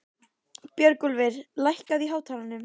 Björgúlfur, lækkaðu í hátalaranum.